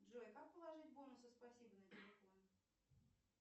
джой как положить бонусы спасибо на телефон